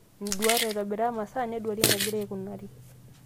Nduat , aitobiraa masaa neduarii enegina aikunari.